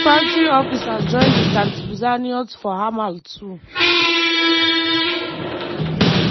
infantry officers join di tatzpitaniyot for hamal too.